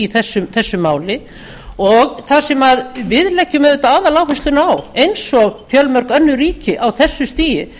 þessu máli og það sem við leggjum auðvitað aðaláherslu á eins og fjölmörg önnur ríki á þessu stigi